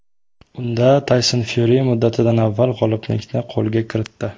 Unda Tayson Fyuri muddatidan avval g‘oliblikni qo‘lga kiritdi.